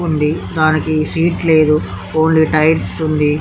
ఉంది దానికి సీట్ లేదు ఓన్లీ టైర్స్ ఉంది.